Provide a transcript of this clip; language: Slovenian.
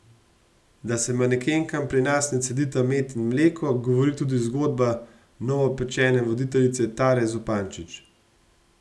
Da se manekenkam pri nas ne cedita med in mleko, govori tudi zgodba novopečene voditeljice Tare Zupančič.